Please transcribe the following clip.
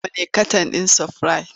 Nawa ne katan ɗin sprite?